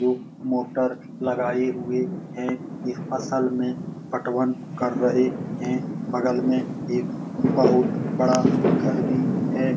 जो मोटर लगाई हुई है ये असल में पटवन कर रहे है बगल में एक बहुत बड़ा घर भी है |